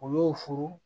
U y'o furu